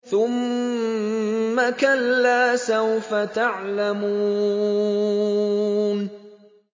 ثُمَّ كَلَّا سَوْفَ تَعْلَمُونَ